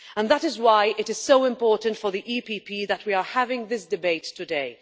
And that is why it is so important for the EPP that we are having this debate today.